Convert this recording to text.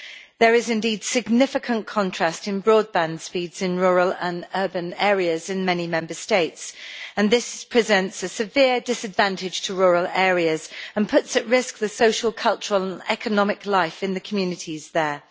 There is indeed significant contrast in broadband speeds in rural and urban areas in many Member States, and this presents a severe disadvantage to rural areas and puts at risk the social, cultural and economic life in the communities there.